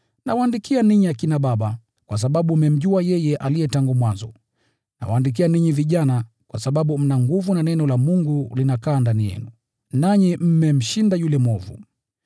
Nawaandikia ninyi akina baba, kwa sababu mmemjua yeye aliye tangu mwanzo. Nawaandikia ninyi vijana, kwa sababu mna nguvu, na neno la Mungu linakaa ndani yenu, nanyi mmemshinda yule mwovu.